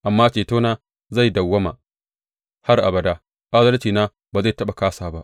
Amma cetona zai dawwama har abada, adalcina ba zai taɓa kāsa ba.